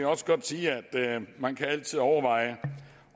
også godt sige at man altid kan overveje